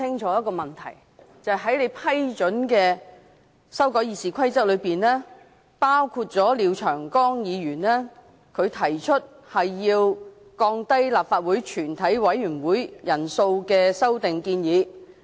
在經你批准的《議事規則》修訂建議中，包括廖長江議員所提降低立法會全體委員會法定人數的修訂建議。